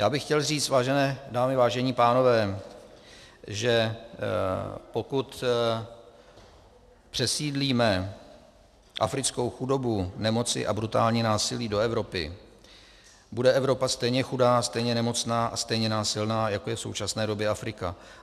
Já bych chtěl říct, vážené dámy, vážení pánové, že pokud přesídlíme africkou chudobu, nemoci a brutální násilí do Evropy, bude Evropa stejně chudá, stejně nemocná a stejně násilná, jako je v současné době Afrika.